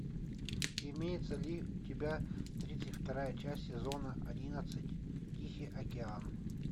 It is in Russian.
имеется ли у тебя тридцать вторая часть сезона одиннадцать тихий океан